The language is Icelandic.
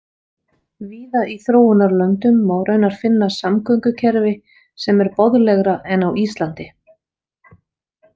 Víða í þróunarlöndum má raunar finna samgöngukerfi sem er boðlegra en á Íslandi.